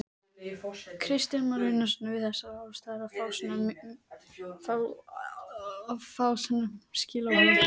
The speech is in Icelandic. Kristján Már Unnarsson: Við þessar aðstæður að fá svona skilaboð?